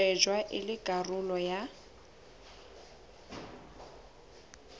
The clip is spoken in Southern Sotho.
shejwa e le karolo ya